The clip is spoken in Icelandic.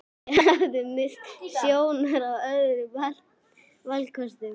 Ég hafði misst sjónar á öðrum valkostum.